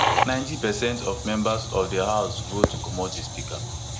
ninety percent of members of di house vote to comot di speaker